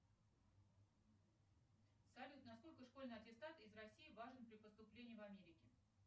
салют на сколько школьный аттестат из россии важен при поступлении в америке